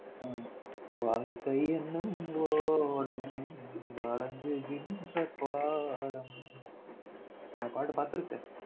உம் வாழ்க்கை என்னும் ஒடம் வழங்குகின்ற பாடம் அந்த பாட்ட பாத்துருக்க